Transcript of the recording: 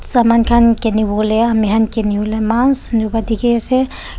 saman khan kiniwo lae amikhan kiniwolae eman sunder pa dikhiase.